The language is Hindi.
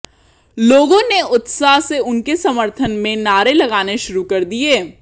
लोगों ने उत्साह से उनके समर्थन में नारे लगाने शुरु कर दिए